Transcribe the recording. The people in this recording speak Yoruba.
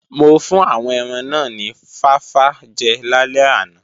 Mo fún àwọn ẹran náà ni fáfá jẹ lálẹ́ àná